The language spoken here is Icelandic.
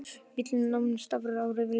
Bíllinn nam staðar á rauðu ljósi.